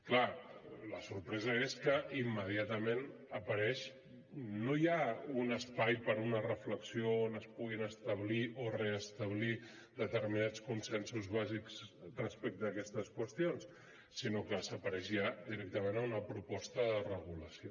clar la sorpresa és que immediatament apareix no ja un espai per a una reflexió on es puguin establir o restablir determinats consensos bàsics respecte a aquestes qüestions sinó que apareix ja directament una proposta de resolució